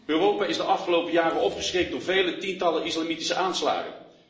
Europa is de afgelopen jaren opgeschrikt door vele tientallen islamitische aanslagen.